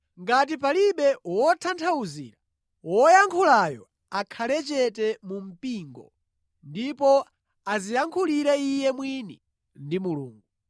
Ngati palibe wotanthauzira, woyankhulayo akhale chete mu mpingo ndipo adziyankhulire iye mwini ndi Mulungu.